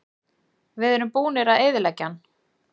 Við erum búnir að eyðileggja hann.